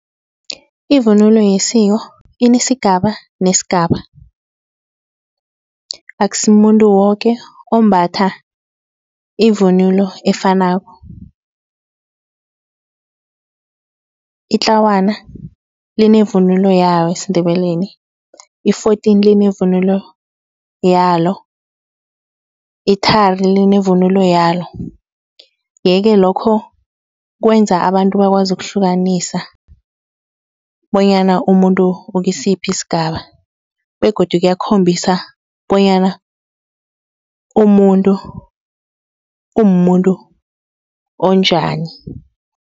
Ivunulo yesiko inesigaba nesigaba akusimumuntu woke ombatha ivunulo efanako. Itlawana linevunulo yalo esiNdebeleni, i-fourteen linevunulo yalo, ithari livunulo yalo. Yeke lokho kwenza abantu bakwazi ukuhlukanisa bonyana umuntu ukisiphi isigaba begodu kuyakhombisa bonyana umuntu umuntu onjani.